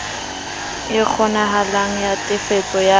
e kgonehang ya tefiso ya